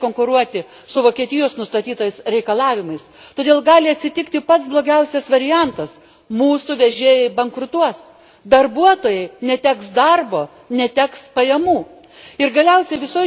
Nes jie tikrai negalės konkuruoti su Vokietijos nustatytais reikalavimais. Todėl gali atsitikti pats blogiausias variantas, mūsų vežėjai bankrutuos. Darbuotojai neteks darbo, neteks pajamų.